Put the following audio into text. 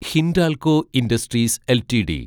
Hindalco Industries LTD